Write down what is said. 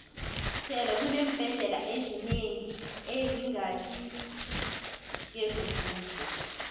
sele kuneembhendlela ezinengi ezingasi ngezombuso